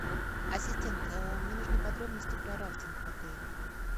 ассистент мне нужны подробности про рафтинг в отеле